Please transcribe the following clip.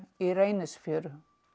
í Reynisfjöru